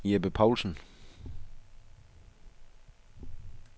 Jeppe Paulsen